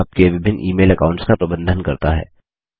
यह आपके विभिन्न ईमेल अकाऊंट्स का प्रबंधन करता है